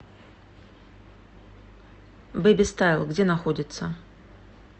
бэби стайл где находится